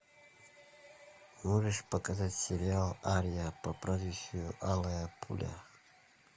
можешь показать сериал ария по прозвищу алая пуля